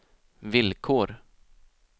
villkor